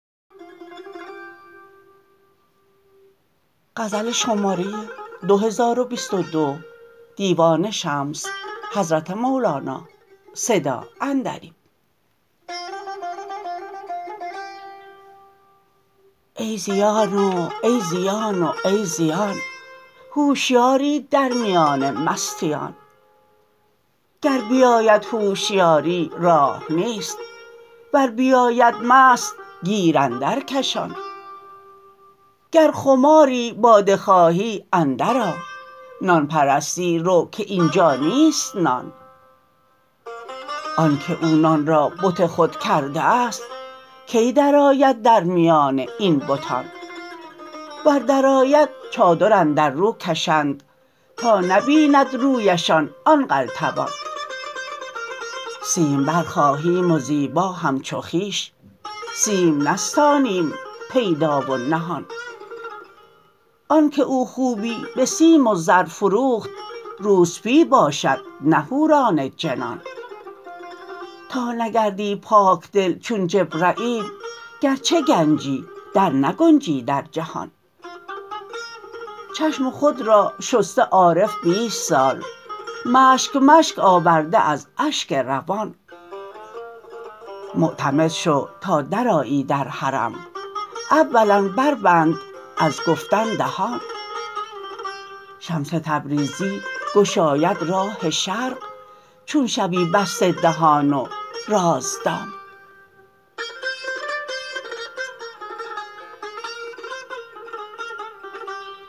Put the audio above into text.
ای زیان و ای زیان و ای زیان هوشیاری در میان مستیان گر بیاید هوشیاری راه نیست ور بیاید مست گیر اندرکشان گر خماری باده خواهی اندرآ نان پرستی رو که این جا نیست نان آنک او نان را بت خود کرده است کی درآید در میان این بتان ور درآید چادر اندر رو کشند تا نبیند رویشان آن قلتبان سیمبر خواهیم و زیبا همچو خویش سیم نستانیم پیدا و نهان آنک او خوبی به سیم و زر فروخت روسپی باشد نه حوران جنان تا نگردی پاک دل چون جبرییل گرچه گنجی درنگنجی در جهان چشم خود را شسته عارف بیست سال مشک مشک آورده از اشک روان معتمد شو تا درآیی در حرم اولا بربند از گفتن دهان شمس تبریزی گشاید راه شرق چون شوی بسته دهان و رازدان